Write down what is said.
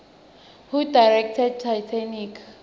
who directed titanic